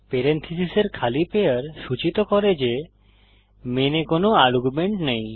পেরেনথীসীসের খালি পেয়ার সূচিত করে যে মেনে কোনো আর্গুমেন্ট নেই